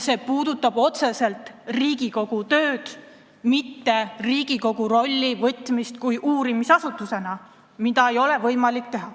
See puudutab otseselt Riigikogu tööd, mitte Riigikogu kui uurimisasutuse rolli, mis ei ole võimalik.